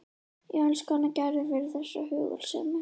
Ég elska hana Gerði fyrir þessa hugulsemi.